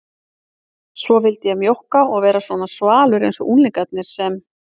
Svo vildi ég mjókka og vera svona svalur einsog unglingarnir sem